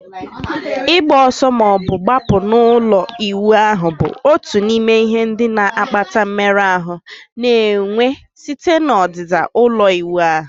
Ịgba ọsọ ma ọ bụ gbapụ n'ụlọ ịwụ ahụ bụ otu n'ime ihe ndị na-akpata mmerụ ahụ na-enwe site na ọdịda ụlọ ịwụ ahụ